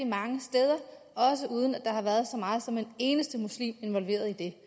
mange steder også uden at der har været så meget som en eneste muslim involveret i det